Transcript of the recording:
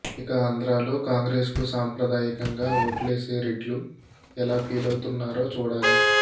ఇక ఆంధ్రలో కాంగ్రెసుకు సాంప్రదాయికంగా ఓట్లేసే రెడ్లు ఎలా ఫీలవుతున్నారో చూడాలి